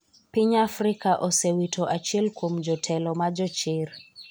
Piny Afrika osewito achiel kuom jotelo ma jochir,